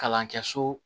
Kalan kɛ so